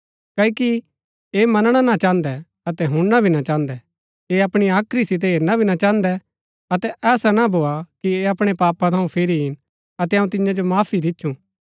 क्ओकि ऐह मनणा ना चाहन्दै अतै हुणना भी ना चाहन्दै ऐह अपणी हाख्री सितै हेरना भी ना चाहन्दै अतै ऐसा ना भोआ कि ऐह अपणै पापा थऊँ फिरी ईन अतै अऊँ तियां जो माफी दिच्छु